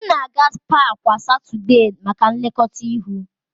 M na-aga spaa kwa Satọdee maka nlekọta ihu.